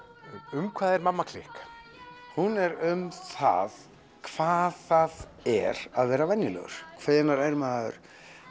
um hvað er mamma klikk hún er um það hvað það er að vera venjulegur hvenær er maður